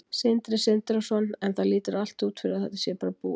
Sindri Sindrason: En það lítur allt út fyrir að þetta sé bara búið?